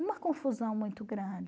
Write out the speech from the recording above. Uma confusão muito grande.